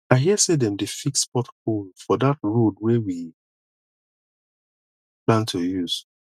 i hear sey dem dey fix pothole for dat road wey we plan to use